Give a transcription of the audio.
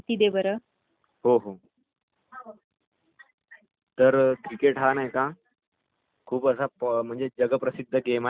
हो..हो.....तर cricket हा नाही का खूप असा म्हणजे असा जगप्रसिध्द गेम आहे